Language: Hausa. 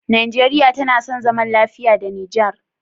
Nigeria tAna son zaman lafiya da niger?